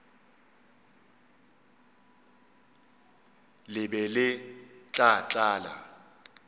le be le tla tlala